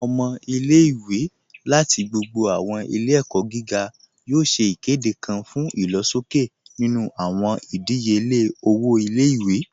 Awọn ọmọ ilẹ̀-iwé lati gbogbo awọn ilẹ̀-ẹ̀kọ giga yoo ṣè ikede kan fun ilọ̀ṣọkẹ̀ nínu awọn idíyelẹ̀ ilẹ̀-iwé